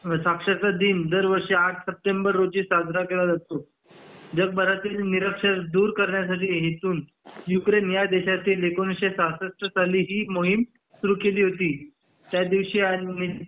अ साक्षरता दिन दरवर्षी आठ सप्टेंबेर रोजी साजरा केला जातो जगभरातील निरक्षरता दूर करण्यासाठी हेतून यूक्रेन या देशातील एकोणीसशे सहासष्ठ साली ही मोहीम सुरू केली होती त्यादिवशी अ